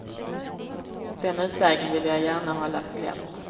Den utvägen ville jag gärna hålla på glänt.